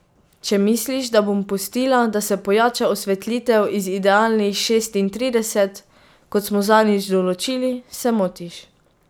Če misliš, da bom pustila, da se pojača osvetlitev iz idealnih šestintrideset, kot smo zadnjič določili, se motiš.